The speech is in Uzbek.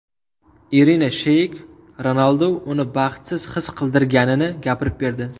Irina Sheyk Ronaldu uni baxtsiz his qildirganini gapirib berdi.